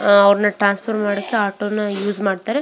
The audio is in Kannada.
ಆಹ್ಹ್ ಅವ್ರನ್ನ ಟ್ರಾನ್ಸ್ಫರ್ ಮಾಡೋಕೆ ಆಟೋನ ಉಷೆ ಮಾಡ್ತಾರೆ.